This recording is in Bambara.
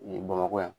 Bamakɔ yan